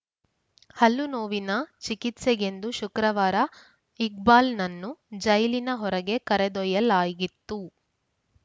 ಹಲ್ಲು ನೋವಿನ ಚಿಕಿತ್ಸೆಗೆಂದು ಶುಕ್ರವಾರ ಇಕ್ಬಾಲ್‌ನನ್ನು ಜೈಲಿನ ಹೊರಗೆ ಕರೆದೊಯ್ಯಲಾಗಿತ್ತು